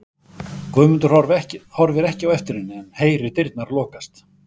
Guðmundur horfir ekki á eftir henni en heyrir dyrnar lokast.